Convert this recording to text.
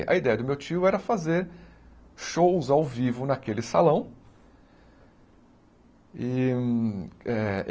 A ideia do meu tio era fazer shows ao vivo naquele salão.